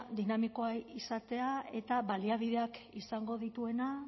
dinamikoa izatea eta baliabideak izango dituena